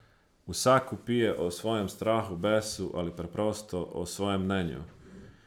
Vsak vpije o svojem strahu, besu, ali preprosto o svojem mnenju.